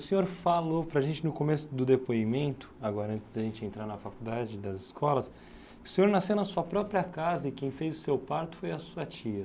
O senhor falou para a gente no começo do depoimento, agora antes de a gente entrar na faculdade e das escolas, que o senhor nasceu na sua própria casa e quem fez o seu parto foi a sua tia.